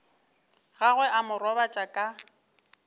gagwe a mo robatša ka